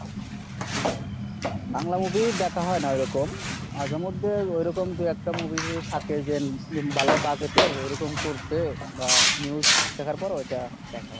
Bangla movie দেখা হয় না ওইরকম, মাঝেমধ্যে ওইরকম দু একটা movie যদি থাকে যে ভালো budget এর ওরকম করসে বা news দেখার পর ওইটা দেখা হয়।